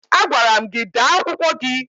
Agwara m gị dee akwụkwọ gị!